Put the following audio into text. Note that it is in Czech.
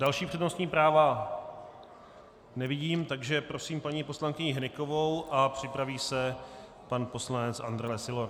Další přednostní práva nevidím, takže prosím paní poslankyni Hnykovou a připraví se pan poslanec Andrle Sylor.